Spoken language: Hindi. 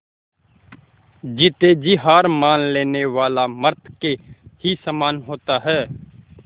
जीते जी हार मान लेने वाला मृत के ही समान होता है